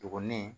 Dɔgɔnin